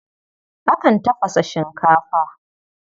Akan tafasa shinkafa.